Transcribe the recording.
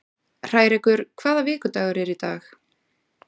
Hrærekur, hvaða vikudagur er í dag?